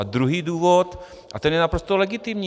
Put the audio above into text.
A druhý důvod a ten je naprosto legitimní.